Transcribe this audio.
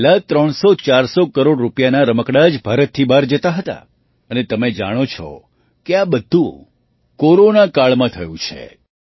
જ્યારે પહેલાં ૩૦૦૪૦૦ કરોડ રૂપિયાનાં રમકડાં જ ભારતથી બહાર જતાં હતાં અને તમે જાણો જ છો કે આ બધું કોરોનાકાળમાં થયું છે